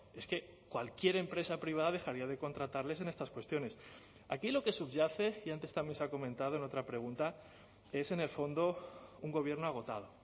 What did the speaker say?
es que cualquier empresa privada dejaría de contratarles en estas cuestiones aquí lo que subyace y antes también se ha comentado en otra pregunta es en el fondo un gobierno agotado